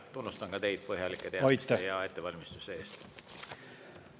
Tunnustan ka teid põhjalike teadmiste ja hea ettevalmistuse eest.